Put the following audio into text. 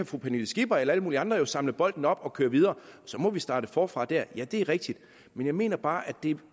fru pernille skipper eller alle mulige andre kan samle bolden op og køre videre og så må vi starte forfra der det er rigtigt men jeg mener bare at det